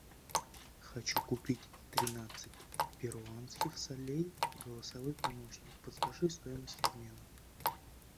хочу купить тринадцать перуанских солей голосовой помощник подскажи стоимость обмена